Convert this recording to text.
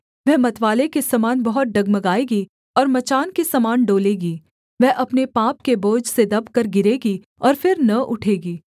वह मतवाले के समान बहुत डगमगाएगी और मचान के समान डोलेगी वह अपने पाप के बोझ से दबकर गिरेगी और फिर न उठेगी